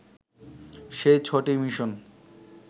সেই ছ'টি মিশন